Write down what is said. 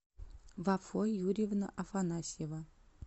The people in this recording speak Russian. вафо юрьевна афанасьева